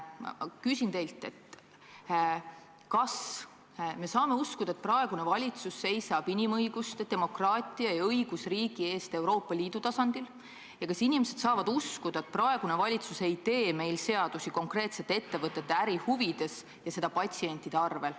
Küsin teilt, kas me saame uskuda, et praegune valitsus seisab inimõiguste, demokraatia ja õigusriigi eest Euroopa Liidu tasandil, ja kas inimesed saavad uskuda, et praegune valitsus ei tee meil seadusi konkreetsete ettevõtete ärihuvides ja seda patsientide arvel.